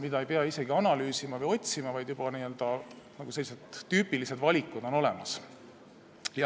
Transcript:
Seda ei pea isegi analüüsima või otsima, vaid sellised tüüpilised valikud on juba olemas.